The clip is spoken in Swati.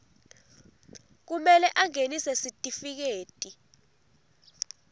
kumele angenise sitifiketi